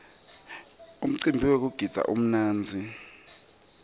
umcimbi wekugidza umnandzi